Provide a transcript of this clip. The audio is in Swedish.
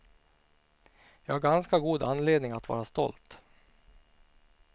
Jag har ganska god anledning att vara stolt.